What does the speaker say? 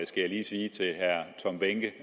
skal jeg lige sige til herre tom behnke